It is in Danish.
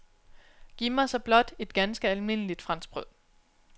Giv mig så blot et ganske almindeligt franskbrød.